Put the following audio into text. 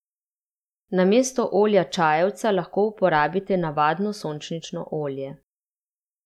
Namesto olja čajevca lahko uporabite navadno sončnično olje.